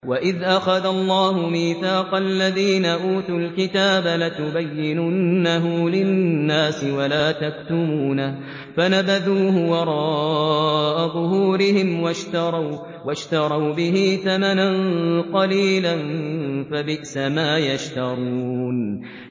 وَإِذْ أَخَذَ اللَّهُ مِيثَاقَ الَّذِينَ أُوتُوا الْكِتَابَ لَتُبَيِّنُنَّهُ لِلنَّاسِ وَلَا تَكْتُمُونَهُ فَنَبَذُوهُ وَرَاءَ ظُهُورِهِمْ وَاشْتَرَوْا بِهِ ثَمَنًا قَلِيلًا ۖ فَبِئْسَ مَا يَشْتَرُونَ